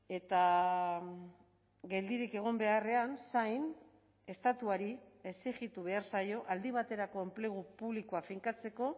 eta geldirik egon beharrean zain estatuari exijitu behar zaio aldi baterako enplegu publikoa finkatzeko